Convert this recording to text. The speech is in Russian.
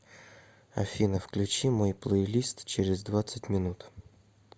афина включи мой плейлист через двадцать минут